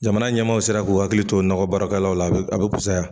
Jamana ɲɛmaw sera k'u hakili to nakɔbaarakɛlaw la a be a be fusaya